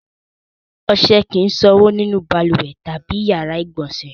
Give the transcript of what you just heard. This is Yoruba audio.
Ọṣẹ kì í ṣànwọ́ nínú balùwẹ̀ tàbí ìyàrá-ìgbọ̀nsẹ̀.